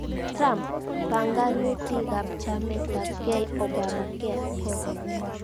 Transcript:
Trump:Panganutikab chametabgei, Obamacare "kokome".